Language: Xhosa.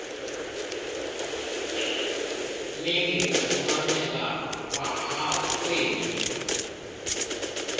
mingi kufumaneka kwaakweli